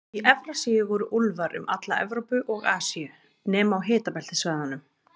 Í Evrasíu voru úlfar um alla Evrópu og Asíu, nema á hitabeltissvæðunum.